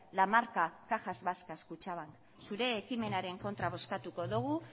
la marca cajas vascas kutxabank zure ekimenaren kontra bozkatuko dugu